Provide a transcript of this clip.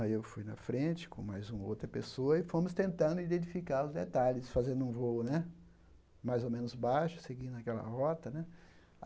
Aí eu fui na frente com mais uma outra pessoa e fomos tentando identificar os detalhes, fazendo um voo né mais ou menos baixo, seguindo aquela rota né.